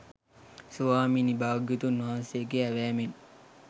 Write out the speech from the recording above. ස්වාමීනී භාග්‍යවතුන් වහන්සේගේ ඇවෑමෙන්